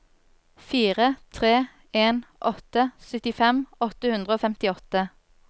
fire tre en åtte syttifem åtte hundre og femtiåtte